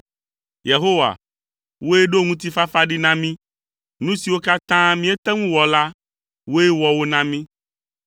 Yehowa, wòe ɖo ŋutifafa ɖi na mí; nu siwo katã míete ŋu wɔ la wòe wɔ wo na mí.